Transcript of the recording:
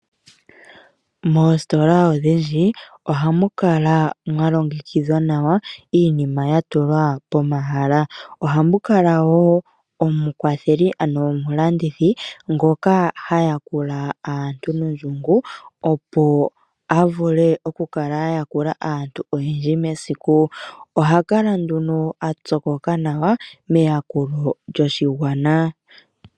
Moositola odhindji ohamu kala mwa longekidhwa nawa , iinima ya tulwa pomahala . Ohamu kala woo omukwatheli ano omulandithi ngono ha yakula aantu nondjungu opo a vule okukala a yakula aantu oyendji mesiku . Oha kala nduno a pyokoka nawa meyakulo lyoshigwana .